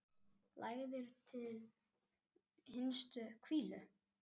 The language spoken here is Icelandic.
Lagður til hinstu hvílu?